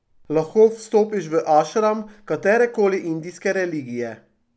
Lahko vstopiš v ašram katerekoli indijske religije.